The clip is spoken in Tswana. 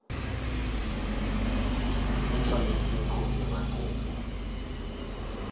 o tshwanetseng go dira kopo